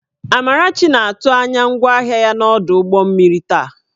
Amarachi na-atụ anya ngwaahịa ya n'ọdụ ụgbọ mmiri taa